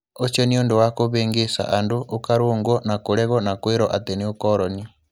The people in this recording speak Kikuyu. Ũcio nĩ ũndũ wa kũvĩngĩca andũ, uka rũngwo na kũregwo na kwirwo atĩ nĩ ũkoroni.